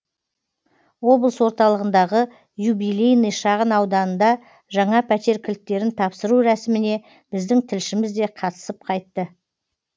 облыс орталығындағы юбилейный шағын ауданында жаңа пәтер кілттерін тапсыру рәсіміне біздің тілшіміз де қатысып қайтты